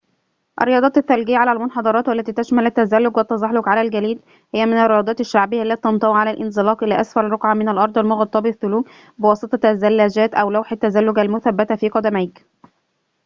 الرياضات الثلجية على المنحدرات والتي تشمل التزلج والتزحلق على الجليد هي من الرياضات الشعبية التي تنطوي على الانزلاق إلى أسفل رقعة من الأرض المغطاة بالثلوج بواسطة الزلاجات أو لوح التزلج المثبتة في قدميك